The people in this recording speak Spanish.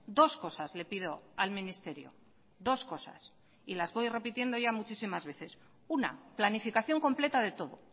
dos cosas le pido al ministerio dos cosas y las voy repitiendo ya muchísimas veces una planificación completa de todo